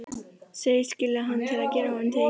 Segist skilja hann til að gera honum til geðs.